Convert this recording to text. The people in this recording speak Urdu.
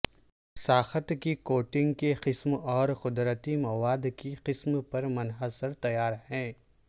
ساخت کی کوٹنگ کی قسم اور قدرتی مواد کی قسم پر منحصر تیار ہے